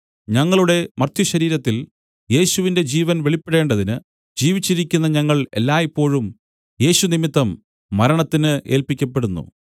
ഞങ്ങളുടെ മർത്യശരീരത്തിൽ യേശുവിന്റെ ജീവൻ വെളിപ്പെടേണ്ടതിന് ജീവിച്ചിരിക്കുന്ന ഞങ്ങൾ എല്ലായ്പോഴും യേശു നിമിത്തം മരണത്തിന് ഏല്പിക്കപ്പെടുന്നു